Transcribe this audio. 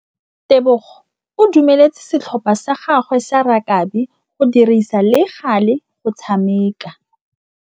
Tebogô o dumeletse setlhopha sa gagwe sa rakabi go dirisa le galê go tshameka.